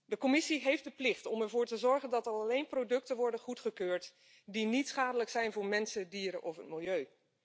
De Commissie heeft de plicht om ervoor te zorgen dat alleen producten worden goedgekeurd die niet schadelijk zijn voor mensen, dieren of het milieu.